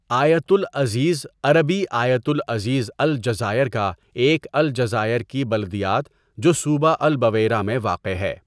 آیت لعزیز عربی آيت لعزيز الجزائر کا ایک الجزائر کی بلدیات جو صوبہ البویرہ میں واقع ہے.